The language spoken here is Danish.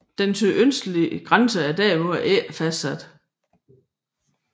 Den sydøstlige grænse er derimod ikke fastsat